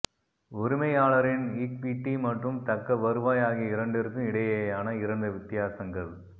உரிமையாளரின் ஈக்விட்டி மற்றும் தக்க வருவாய் ஆகிய இரண்டிற்கும் இடையேயான இரண்டு வித்தியாசங்கள்